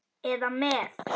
eða með